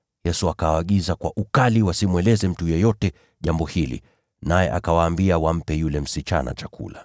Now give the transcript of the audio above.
Yesu akawaagiza kwa ukali wasimweleze mtu yeyote jambo hilo, naye akawaambia wampe yule msichana chakula.